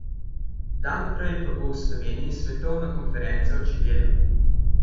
Dan prej pa bo v Sloveniji svetovna konferenca o čebelah.